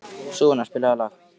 Sunniva, spilaðu lag.